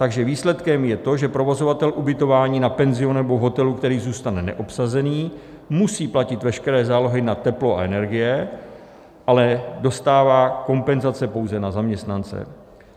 Takže výsledkem je to, že provozovatel ubytování na penzionu nebo hotelu, který zůstane neobsazený, musí platit veškeré zálohy na teplo a energie, ale dostává kompenzace pouze na zaměstnance.